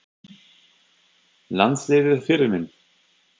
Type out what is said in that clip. Landsliðið Fyrirmynd?